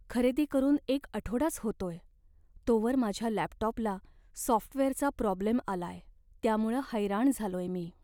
खरेदी करून एक आठवडाच होतोय तोवर माझ्या लॅपटॉपला सॉफ्टवेअरचा प्रॉब्लेम आलाय, त्यामुळं हैराण झालोय मी.